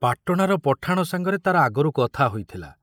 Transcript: ପାଟଣାର ପଠାଣ ସାଙ୍ଗରେ ତାର ଆଗରୁ କଥା ହୋଇଥିଲା।